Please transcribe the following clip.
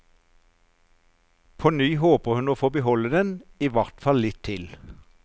På ny håper hun å få beholde den, i hvert fall litt til.